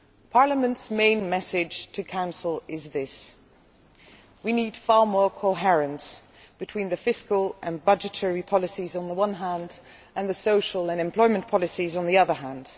Parliament's main message to the Council is this we need far more coherence between fiscal and budgetary policies on the one hand and social and employment policies on the other hand.